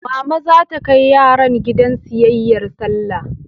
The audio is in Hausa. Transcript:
Mama za ta kai yaran gidan siyayyar Sallah.